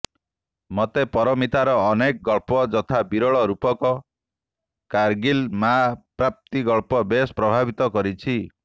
ମତେ ପାରମିତାର ଅନେକ ଗଳ୍ପ ଯଥା ବିରଳ ରୂପକ କାର୍ଗିଲ୍ ମା ପ୍ରାପ୍ତି ଗଳ୍ପ ବେଶ୍ ପ୍ରଭାବିତ କରିଛି